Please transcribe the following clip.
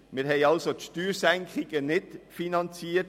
Wir haben die Steuersenkungen also nicht finanziert.